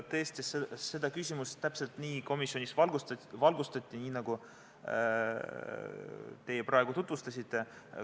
Tõesti, seda küsimust täpselt nii komisjonis valgustati, nagu teie praegu tutvustasite.